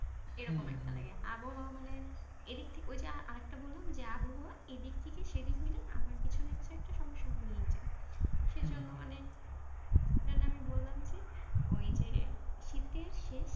এই রকম একটা লাগে। আবহাওয়া মানে, এইদিক থেকে, ওই যে আর একটা বললাম যে আবহাওয়া এইদিক থেকে সেইদিক হলেই আমার কিছু না কিছু একটা সমস্যা হয়েই যায়। সেই জন্য মানে যে আমি বললাম যে, ওই যে শীতের শেষ